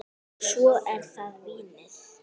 Og svo er það vínið.